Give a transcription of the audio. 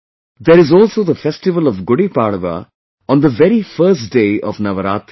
There is also the festival of Gudi Padwa on the very first day of Navratri